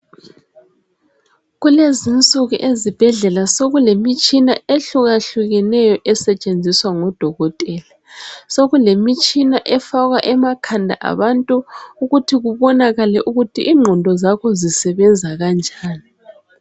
Kulezinsuku ezibhedlela sokulemitshina ehlukahlukeneyo esetshenziswa ngodokotela sokulemitshina efakwa amakhanda abantu ukuthi kubonakale ukuthi ingqondo zakho zisebenza kanjani.